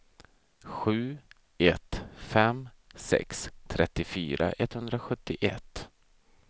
sju ett fem sex trettiofyra etthundrasjuttioett